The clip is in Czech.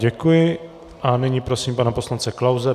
Děkuji a nyní prosím pana poslance Klause.